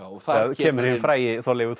þá kemur hinn frægi Þorleifur